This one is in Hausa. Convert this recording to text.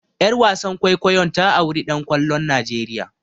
Ƴar wasan kwaikwayon ta auri ɗan kwallon Nigeria.